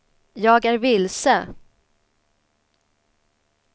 jag är vilse